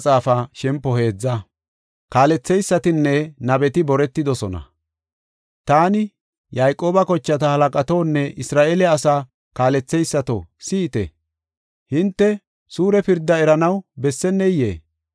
Taani, “Yayqooba kochata halaqatonne Isra7eele asaa kaaletheysato, si7ite! Hinte suure pirdaa eranaw besseneyee?